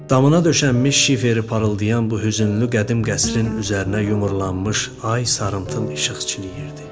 Damına döşənmiş şiferi parıldayan bu hüznlü, qədim qəsrin üzərinə yumrulanmış ay sarımtıl işıq çiləyirdi.